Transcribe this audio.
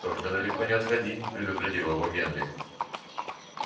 только далеко не отходи предупредил его генри